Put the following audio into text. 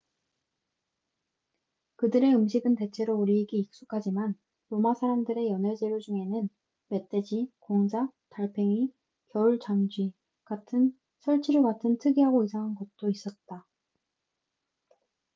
그들의 음식은 대체로 우리에게 익숙하지만 로마 사람들의 연회 재료 중에는 멧돼지 공작 달팽이 겨울잠쥐 같은 설치류 같은 특이하고 이상한 것도 있었다